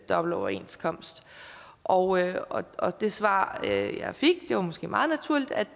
dobbeltoverenskomst og og det svar jeg fik var måske meget naturligt at